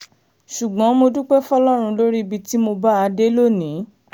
ṣùgbọ́n mo dúpẹ́ fọlọ́run lórí ibi tí mo bá a dé lónìí